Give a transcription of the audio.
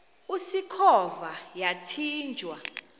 usikhova yathinjw a